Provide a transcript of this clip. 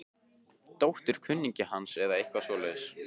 Dóttir kunningja hans eða eitthvað svoleiðis.